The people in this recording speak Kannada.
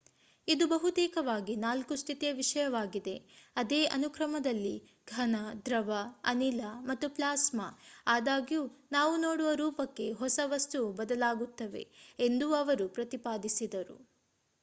ಇದು ಬಹುತೇಕವಾಗಿ 4 ಸ್ಥಿತಿಯ ವಿಷಯವಾಗಿದೆ ಅದೇ ಅನುಕ್ರಮದಲ್ಲಿ: ಘನ ದ್ರವ ಅನಿಲ ಮತ್ತು ಪ್ಲಾಸ್ಮಾ ಆದಾಗ್ಯೂ ನಾವು ನೋಡುವ ರೂಪಕ್ಕೆ ಹೊಸ ವಸ್ತುವು ಬದಲಾಗುತ್ತವೆ ಎಂದೂ ಅವರು ಪ್ರತಿಪಾದಿಸಿದರು